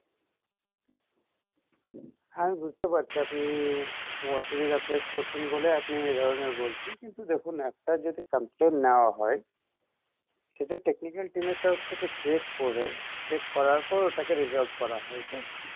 হ্যাঁ আমি বুঝতে পারছি আপনি খুব অসুবিধা face করছেন বলে আপনি এ ধরণের বলছেন কিন্তু দেখুন একটা যদি complain না হয় সেটা technical team এর তরফ থেকে check করে check করার পর ওটাকে resolve করা হয় তো